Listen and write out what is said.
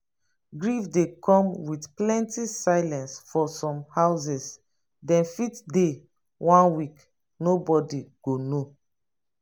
grief dey come with plenty silence for some houses dem fit dey one week nobody go know